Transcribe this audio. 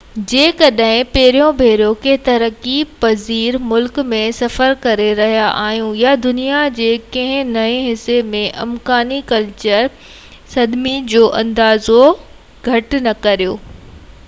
جيڪڏهن پهريون ڀيرو ڪنهن ترقي پذير ملڪ ۾ سفر ڪري رهيا آهيو – يا دنيا جي ڪنهن نئين حصي ۾– امڪاني ڪلچر صدمي جو اندازو گهٽ نه ڪريو